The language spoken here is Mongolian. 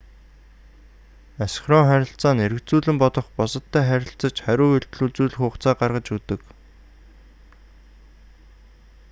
асинхрон харилцаа нь эргэцүүлэн бодох бусадтай харилцаж хариу үйлдэл үзүүлэх хугацааг гаргаж өгдөг